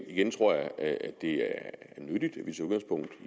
igen tror jeg at det er nyttigt